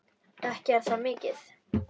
Ekki er það mikið!